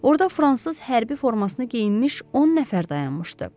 Orda fransız hərbi formasını geyinmiş 10 nəfər dayanmışdı.